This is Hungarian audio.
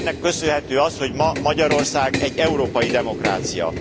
Ennek köszönhető az, hogy ma Magyarország egy európai demokrácia.